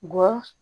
Ngɔ